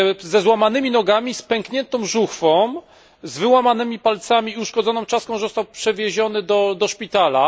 Ze złamanymi nogami, z pękniętą żuchwą, z wyłamanymi palcami i uszkodzoną czaszką został przewieziony do szpitala.